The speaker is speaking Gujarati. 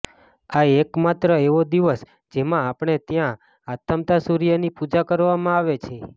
આ એક માત્ર એવો દિવસ જેમાં આપણે ત્યાં આથમતા સૂર્યની પૂજા કરવામાં આવે છે